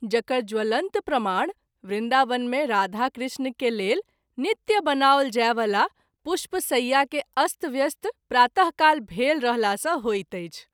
जकर ज्वलंत प्रमाण वृन्दावन मे राधा कृष्ण के लेल नित्य बनाओल जाय वाला पुष्प सय्या के अस्त व्यस्त प्रात: काल भेल रहला सँ होइत अछि।